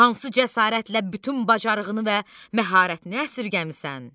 Hansı cəsarətlə bütün bacarığını və məharətini əsirgəmisan?